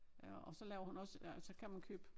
Ja og så laver hun også øh så kan man købe